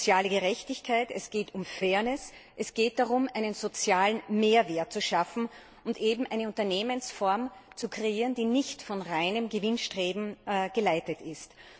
Es geht um soziale Gerechtigkeit, es geht um Fairness, es geht darum, einen sozialen Mehrwert zu schaffen und eben eine Unternehmensform zu kreieren, die nicht von reinem Gewinnstreben geleitet ist.